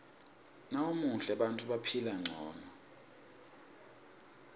nawumuhle bantfu baphila ngcono